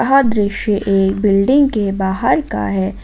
यह दृश्य एक बिल्डिंग के बाहर का है ।